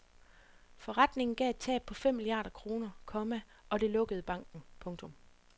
Forretningen gav et tab på fem milliarder kroner, komma og det lukkede banken. punktum